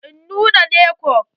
Eh nunnane ko.